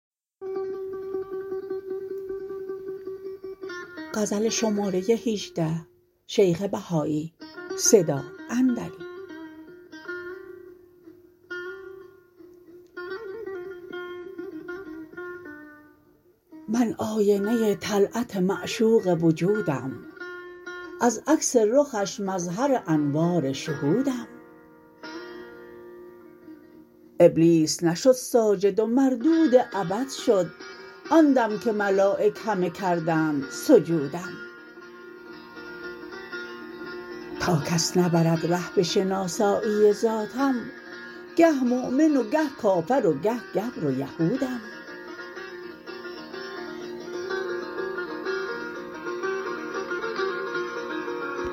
من آینه طلعت معشوق وجودم از عکس رخش مظهر انوار شهودم ابلیس نشد ساجد و مردود ابد شد آن دم که ملایک همه کردند سجودم تا کس نبرد ره به شناسایی ذاتم گه مؤمن و گه کافر و گه گبر و یهودم